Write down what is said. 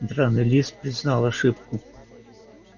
драный лис признал ошибку